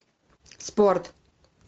спорт